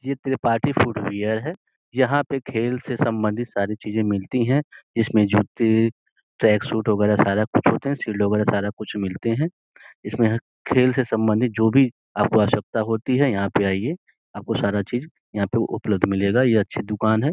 यह Tripathi footwear है यहाँ पे खेल से सम्बन्धित सारी चीजे मिलती हैं। इसमें जूते ट्रैक सूट वगैरह सारा कुछ होते हैं। सील ओवर सारा कुछ मिलते हैं इसमें खेल सम्बन्धित जो भी आपको आवश्कता होती है यहाँ पे आईऐ आपको सारा चीज यहाँ पे उपलब्ध मिलेगा। यह अच्छी दुकान है।